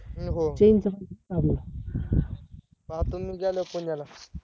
नको पाहतो मी गेल्यावर पुण्याला